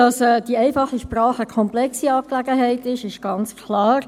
Dass die einfache Sprache eine komplexe Angelegenheit ist, ist ganz klar.